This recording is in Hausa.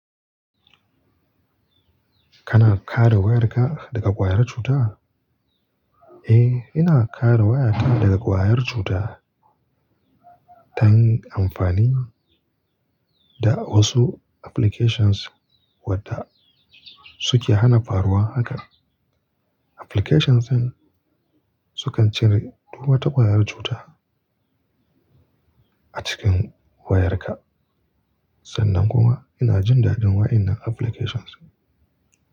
Kana kare wayarka daga kwayar cuta? Eh, ina kare waya ta daga kwayar cuta ta hanyar amfani da wasu applications waɗanda suke hana faruwa haka. Applications din sukan cire duk wata kwayar cuta a cikin wayarka. Sannan kuma ina jin dadin wa'innan applications.